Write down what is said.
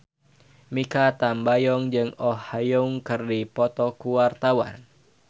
Mikha Tambayong jeung Oh Ha Young keur dipoto ku wartawan